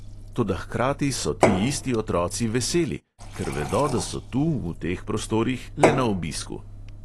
Toda hkrati so ti isti otroci veseli: ker vedo, da so tu, v teh prostorih, le na obisku.